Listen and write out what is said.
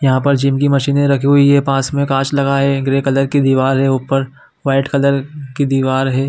यहाँ पर जिम की मशीने रखी हुई है पास मैं कांच लगा है ग्रे कलर की दिवार है ऊपर वाइट कलर की दिवार है।